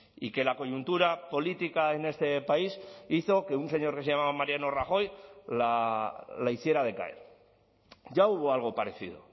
y que la coyuntura política en este país hizo que un señor que se llamaba mariano rajoy la hiciera decaer ya hubo algo parecido